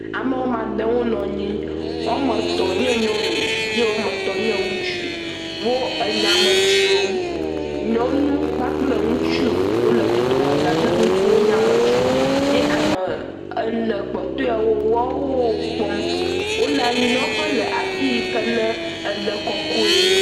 Ame woame ade wonɔ nyi. Woame etɔ̃ nye nyɔnu ye woame etɔ̃ nye ŋutsu. Wo enyame dzrom. Nyɔnu kpakple ŋutsu wole dodomeza tututu wo nyame dzrom ye ame ene kpɔtɔewo woawo woo kpɔm. Wole anyinɔƒe le afi yi ke ne ele kɔkɔe,